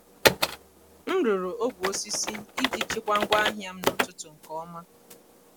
m rụrụ ogwe osisi iji chịkwaa ngwa ahịa m n’ọtụtù nke ọma.